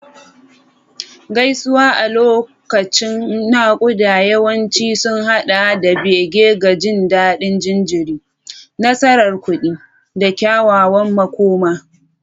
Gaisuwa a lokacin naƙuda yawanci sun haɗa da bege ga jin daɗin jariri, nasarar kuɗi, da kyakkyawar makoma.